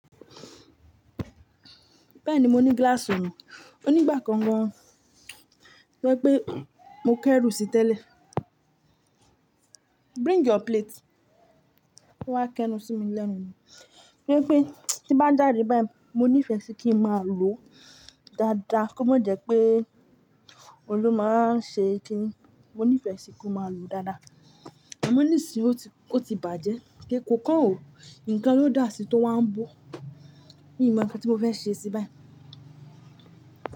Bẹ́ẹ̀ni mo ní glass ọ̀nà, ònígbà kangan rẹ pé mo kẹ́rù sí tẹ́lẹ̀. Bring your plate wọ́n wá kẹnu sí mi lẹ́nu náà. Yẹ́pẹ́ tí bá jàde báyìí mo nífẹ̀ẹ́ sí kí ń má lò dáadáa kó má jẹ pé olú máa ń ṣe kí ni. Mo nífẹ̀ẹ́ sí kó má lò dáadáa. A mo nísìn ò ti bàjẹ́ kí ko kàn ọ, ǹkan ló dà sí tó wá ń bó. Mi ò mọ ohun tí mo fẹ́ ṣe sí báyi.